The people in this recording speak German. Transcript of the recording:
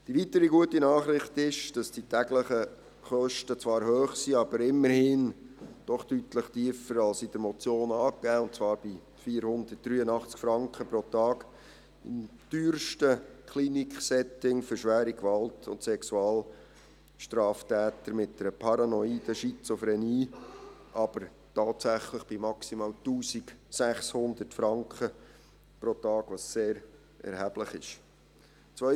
Die weitere gute Nachricht ist, dass die täglichen Kosten zwar hoch sind, aber immerhin doch deutlich tiefer als in der Motion angegeben, und zwar liegen sie bei 483 Franken pro Tag im teuersten Kliniksetting für schwere Gewalt- und Sexualstraftäter mit einer paranoiden Schizophrenie, aber tatsächlich bei maximal 1600 Franken pro Tag, was sehr erheblich ist.